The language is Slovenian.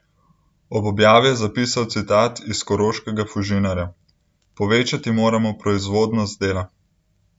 Ob objavi je zapisal citat iz koroškega Fužinarja: "Povečati moramo 'proizvodnost' dela.